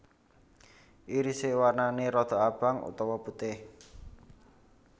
Irise warnane rodok abang utawa putih